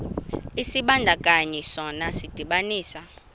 isibandakanyi sona sidibanisa